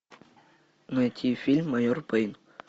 найти фильм майор пейн